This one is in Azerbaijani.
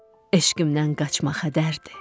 Eşqimdən qaçmaq hədərdir.